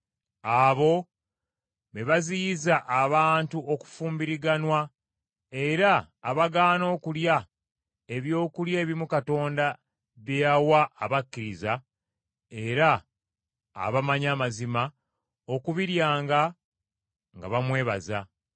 Abo be baziyiza abantu okufumbiriganwa, era abagaana okulya ebyokulya ebimu Katonda bye yawa abakkiriza era abamanyi amazima, okubiryanga nga bamwebaza.